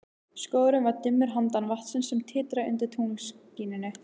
Skógurinn var dimmur handan vatnsins, sem titraði undir tunglskininu.